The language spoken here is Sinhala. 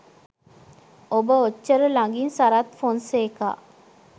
ඔබ ඔච්චර ළඟින් සරත් ෆොන්සේකා